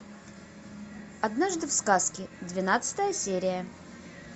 однажды в сказке двенадцатая серия